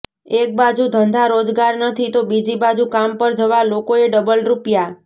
એક બાજુ ધંધા રોજગાર નથી તો બીજી બાજુ કામ પર જવા લોકોએ ડબલ રૂપિયા